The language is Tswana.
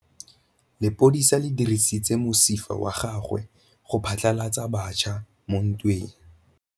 Lepodisa le dirisitse mosifa wa gagwe go phatlalatsa batšha mo ntweng.